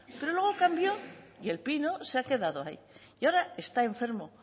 pero luego cambió y el pino se ha quedado ahí y ahora está enfermo